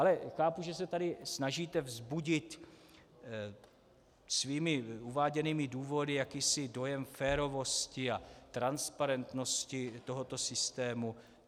Ale chápu, že se tady snažíte vzbudit svými uváděným důvody jakýsi dojem férovosti a transparentnosti tohoto systému.